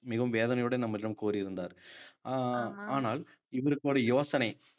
மிகவும் வேதனையுடன் நம்மிடம் கூறியிருந்தார் அஹ் ஆனால் இவருக்கு ஒரு யோசனை